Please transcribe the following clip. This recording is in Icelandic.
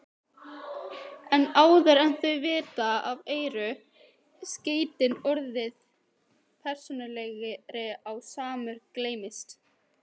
En áður en þau vita af eru skeytin orðin persónulegri og Sámur gleymist.